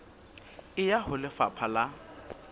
e ya ho lefapha la